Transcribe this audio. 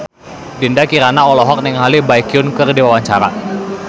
Dinda Kirana olohok ningali Baekhyun keur diwawancara